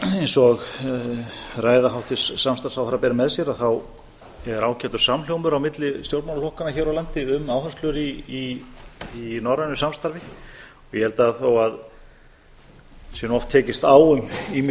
eins og ræða hæstvirts samstarfsráðherra ber með sér þá er ágætur samhljómur á milli stjórnmálaflokkanna hér á landi um áherslur í norrænu samstarfi ég held að þó að það sé nú oft tekist á um ýmis